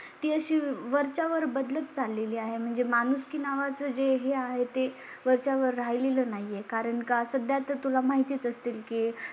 ती अशी वरच्यावर बदलत चाललेली आहे. म्हणजे माणुसकी नावा चं जे हे आहे ते वरच्यावर राहिले लं नाही ये. कारण का? सध्या तर तुला माहितीच असतील की